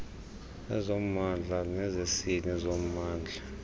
ezommndla nezesini zommndla